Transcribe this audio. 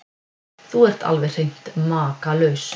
Þú ert alveg hreint makalaus!